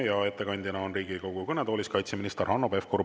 Ja ettekandjana on Riigikogu kõnetoolis kaitseminister Hanno Pevkur.